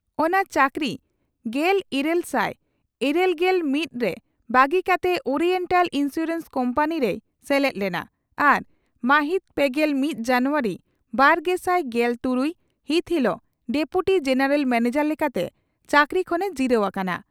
ᱚᱱᱟ ᱪᱟᱹᱠᱨᱤ ᱜᱮᱞᱟᱨᱮᱥᱟᱭ ᱤᱨᱟᱹᱞᱜᱮᱞ ᱢᱤᱛ ᱨᱮ ᱵᱟᱹᱜᱤ ᱠᱟᱛᱮ ᱳᱨᱤᱭᱮᱱᱴᱟᱞ ᱤᱱᱥᱩᱨᱮᱱᱥ ᱠᱳᱢᱯᱟᱱᱤ ᱨᱮᱭ ᱥᱮᱞᱮᱫ ᱞᱮᱱᱟ ᱟᱨ ᱢᱟᱦᱤᱛ ᱯᱮᱜᱮᱞ ᱢᱤᱛ ᱡᱟᱱᱩᱣᱟᱨᱤ ᱵᱟᱨᱜᱮᱥᱟᱭ ᱜᱮᱞ ᱛᱩᱨᱩᱭ ᱹ ᱦᱤᱛ ᱦᱤᱞᱚᱜ ᱰᱮᱯᱩᱴᱤ ᱡᱮᱱᱮᱨᱟᱞ ᱢᱮᱱᱮᱡᱟᱨ ᱞᱮᱠᱟᱛᱮ ᱪᱟᱹᱠᱨᱤ ᱠᱷᱚᱱᱮ ᱡᱤᱨᱟᱹᱣ ᱟᱠᱟᱱᱟ ᱾